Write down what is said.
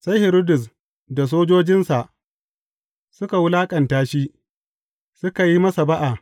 Sai Hiridus da sojojinsa suka wulaƙanta shi, suka yi masa ba’a.